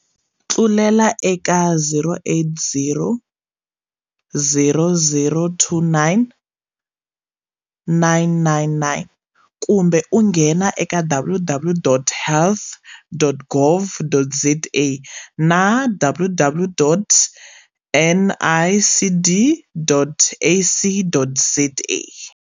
Tlulela eka 0800 029 999 kumbe u nghena eka www.health.gov.za na www.nicd.ac.za